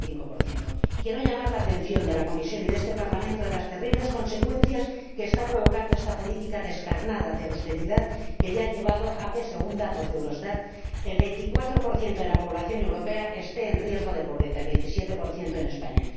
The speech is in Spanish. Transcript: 0,5 Quiero llamar la atención de la Comisión y de este Parlamento ante las terribles consecuencias que está provocando esta política descarnada, de austeridad, que ya ha llevado a que, según datos de Eurostat, el 24 de la población europea esté en riesgo de pobreza, el 27 en España.